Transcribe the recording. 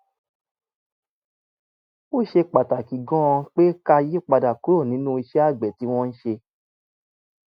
ó ṣe pàtàkì gan-an pé ká yí padà kúrò nínú iṣẹ́ àgbẹ̀ tí wọ́n ń ṣe